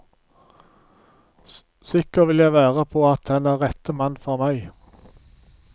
Sikker vil jeg være på at han er rettte mann for meg.